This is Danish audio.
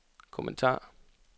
kommentar